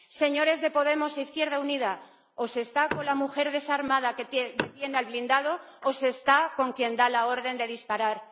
Señores de Podemos e Izquierda Unida o se está con la mujer desarmada que detiene al blindado o se está con quien da la orden de disparar.